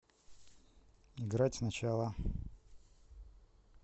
играть сначала